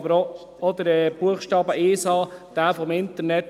Aber auch Buchstabe 1a zum Internet